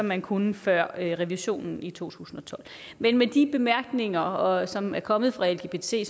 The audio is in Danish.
man kunne før revisionen i to tusind og tolv men med de bemærkninger som er kommet fra lgbt